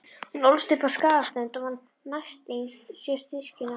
Hún ólst upp á Skagaströnd og var næstyngst sjö systkina.